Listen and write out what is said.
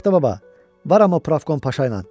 Şaxtababa, var amma Pravkom Paşa ilə.